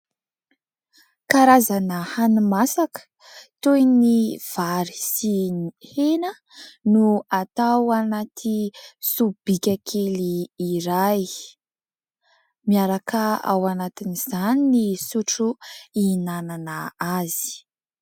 Karazana hani-masaka toy ny vary sy ny hena no atao anaty sobika kely iray, miaraka ao anatin'izany ny sotro ihinanana azy.